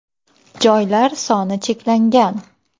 Joylar soni cheklangan!